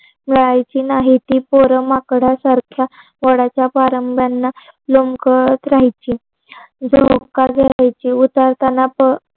यायची नाही ती पोर माकड सारख्या झाडाच्या पारंब्यांना लोंबकळत राहायची झोका झुलायची उतरताना